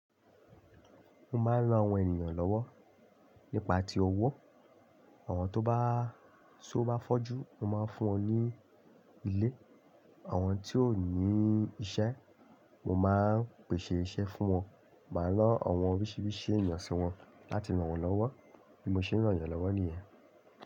Mo máa ń ran àwọn ènìyàn lọ́wọ́ nípa ti owó, àwọn tó bá, tí ó bá fọ́jú, mo máa ń fún wọn ní ilé, àwọn tí ò ní iṣẹ́, mo máa ń pèsè iṣẹ́ fún wọn, màá rán àwọn oríṣiríṣi ènìyàn sí wọn láti ràn wọ́n lọ́wọ́ bí mo ṣe ń ràn ènìyàn lọ́wọ́ nìyẹn.